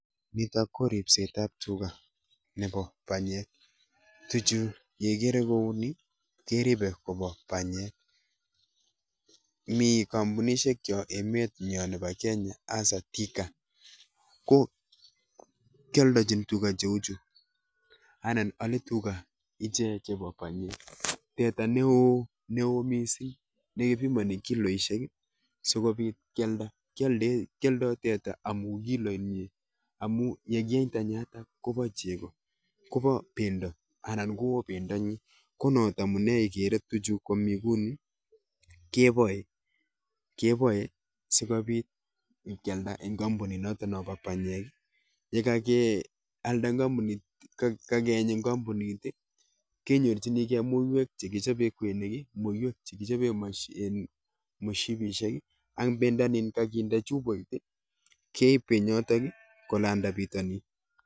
Nitok ko ribset ab tuga chebo panyek tuga chu kobo panyek, mi (companies) chebo panyek che ale tuga chutok, teta neo mising kepimani kiloinik ako kealdoi teta amuun kiloinik chechang, kiboe tuga chutok sikealda kokon chepkondok chechang akeeny pendo kende chupoinik akeib kobo pitonin